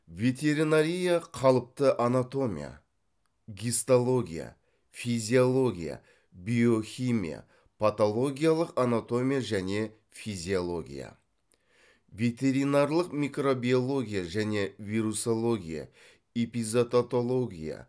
ветеринария қалыпты анатомия гистология физиология биохимия патологиялық анатомия және физиология ветеринарлық микробиология және вирусология эпизототология